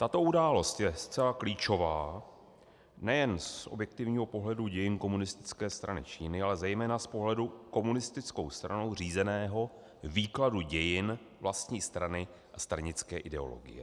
Tato událost je zcela klíčová nejen z objektivního pohledu dějin Komunistické strany Číny, ale zejména z pohledu komunistickou stranou řízeného výkladu dějin vlastní strany a stranické ideologie.